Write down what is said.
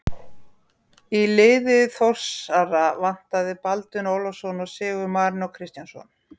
Í liði Þórsara vantaði Baldvin Ólafsson og Sigurð Marinó Kristjánsson.